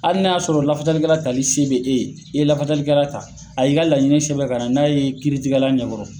Hali y'a sɔrɔ lafasalikɛla tali se be e ye , e ye lafasalikɛla ta a y'i ka laɲini sɛbɛn ka na n'a ye kiiritigɛla ɲɛkɔrɔ